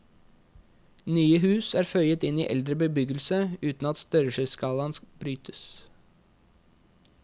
Nye hus er føyet inn i eldre bebyggelse uten at størrelsesskalaen brytes.